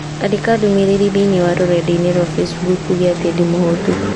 Andĩka ndũmĩrĩri thĩinĩ wa rũrenda-inī rũa facebook ũũge atĩ ndĩ mũhũũtu